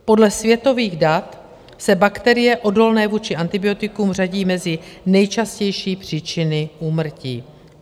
Podle světových dat se bakterie odolné vůči antibiotikům řadí mezi nejčastější příčiny úmrtí.